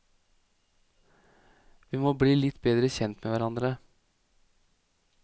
Vi må bli litt bedre kjent med hverandre.